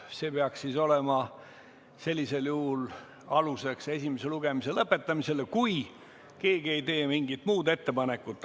See peaks olema sellisel juhul aluseks esimese lugemise lõpetamisele, kui keegi ei tee mingit muud ettepanekut.